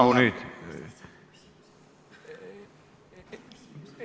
Rahu nüüd!